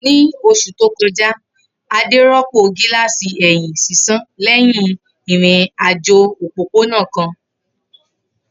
Ni oṣu to kọja, Ade rọpo gilasi ẹhin sisan lẹhin irin-ajo opopona kan.